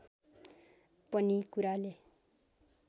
पनि कुराले